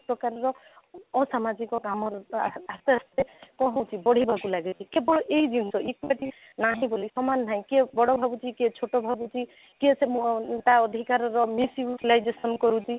ପ୍ରକାରର ଅସାମାଜିକ କାମ ସବୁ ଆସ୍ତେ ଆସ୍ତେ କ'ଣ ହେଉଛି ବଢିବାକୁ ଲେଗେ କେବଳ ଏଇ ଜିନିଷ ଅଟେ ବି ନାହିଁ ବୋଲି ସମାନ ନାହିଁ କିଏ ବଡ ଭାବୁଛି କିଏ ଛୋଟ ଭାବୁଛି କିଏ ସେ ମହାନ ତା ଅଧିକାରର misutilization କରୁଛି